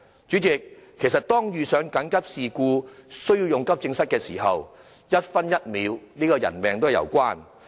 主席，其實遇上緊急事故需要使用急症室的時候，一分一秒也性命攸關。